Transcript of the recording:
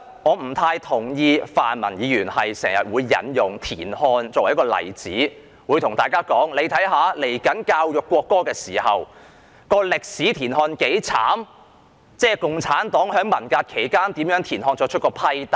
我不太同意泛民議員時常引用田漢作為例子，對大家說稍後進行國歌教育時可從歷史看到田漢有多悽慘，共產黨在文革期間如何對田漢作出批鬥。